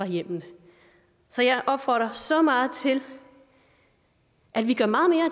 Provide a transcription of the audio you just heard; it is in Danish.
hjemmene så jeg opfordrer så meget til at vi gør meget mere